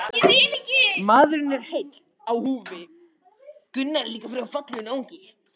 Maðurinn er heill á húfi.